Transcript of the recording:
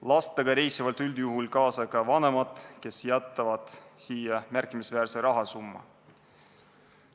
Lastega reisivad üldjuhul kaasa ka vanemad, kes jätavad siia märkimisväärse rahasumma.